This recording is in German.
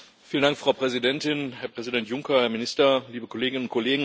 Frau Präsidentin, Herr Präsident Juncker, Herr Minister, liebe Kolleginnen und Kollegen!